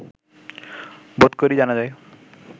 বোধ করি জানা যায়